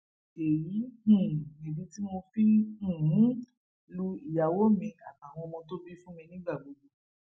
èyí um nìdí tí mo fi um ń lu ìyàwó mi àtàwọn ọmọ tó bí fún mi nígbà gbogbo